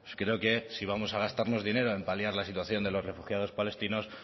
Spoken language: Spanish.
creo que si vamos a gastarnos dinero en paliar la situación de los refugiados palestinos